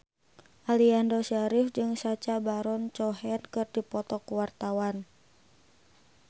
Aliando Syarif jeung Sacha Baron Cohen keur dipoto ku wartawan